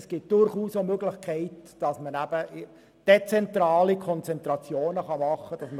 Es gibt durchaus Möglichkeiten für dezentrale Konzentrationen.